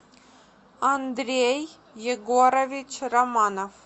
андрей егорович романов